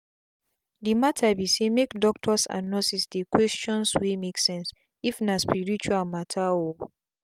the matter be saymake doctors and nurses dey questions wey make sense if na spirtual matter oo.